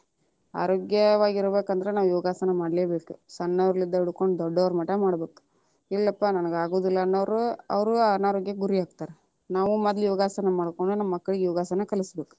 ಆರೋಗ್ಯವಾಗಿ ಇರಬೇಕಂದ್ರ ನಾವ್ ಯೋಗಾಸನ ಮಾಡ್ಲೇಬೇಕ, ಸಣ್ಣವರಿನ್ದ್ಲಾ ದೊಡ್ಡೋರ ಮಠ ಮಾಡ್ಬೇಕ, ಇಲ್ಲಪ್ಪಾ ನನಗ ಅಗುದಿಲ್ಲಾ ಅನ್ನವರು ಅವ್ರು ಅನಾರೋಗ್ಯಕ್ಕೆ ಗುರಿಯಾಗ್ತಾರ, ನಾವು ಮೊದ್ಲ ಯೋಗಾಸನ ಮಾಡ್ಕೊಂಡ ನಮ್ಮ ಮಕ್ಕಳಿಗೆ ಯೋಗಾಸನ ಕಲಸ ಬೇಕ.